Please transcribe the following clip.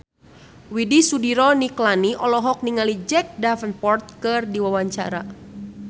Widy Soediro Nichlany olohok ningali Jack Davenport keur diwawancara